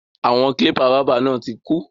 Àwọn kílípà báábà náà tí kú.